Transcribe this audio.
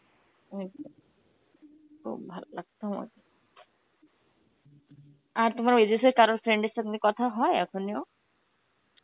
ঐতো খুব ভালো লাগত আমাকে. আর তোমার ওই দেশে কারোর friend এর সঙ্গে কথা হয় এখনিও?